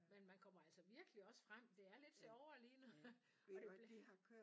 Men man kommer altså også virkelig frem det er lidt sjovere lige nu og det bliver